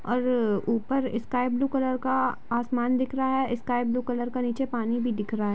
और ऊपर sky blue colour का आसमान दिख रहा है स्काई ब्लू कलर का नीचे पानी भी दिख रहा है।